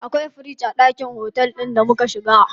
Akwai firiji a ɗakin otel ɗin da muka shiga.